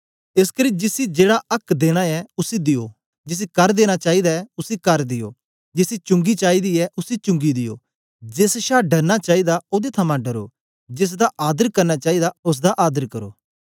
एसकरी जिसी जेड़ा आक्क देना ऐ उसी दियो जिसी कर देना चाईदा ऐ उसी कर दियो जिसी चुंगी चाईदी ऐ उसी चुंगी दियो जेस छा डरना चाईदा ओदे थमां डरो जेसदा आदर करना चाईदा ओसदा आदर करो